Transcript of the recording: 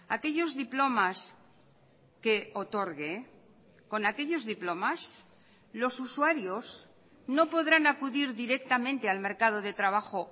aquellos diplomas que otorgue con aquellos diplomas los usuarios no podrán acudir directamente al mercado de trabajo